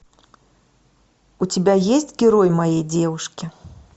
у тебя есть герой моей девушки